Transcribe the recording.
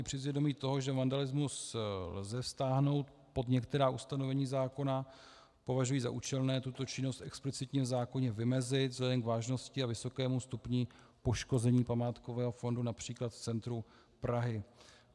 I přes vědomí toho, že vandalismus lze stáhnout pod některá ustanovení zákona, považuji za účelné tuto činnost explicitně v zákoně vymezit vzhledem k vážnosti a vysokému stupni poškození památkového fondu například v centru Prahy.